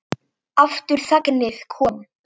Aftur þagnaði konan.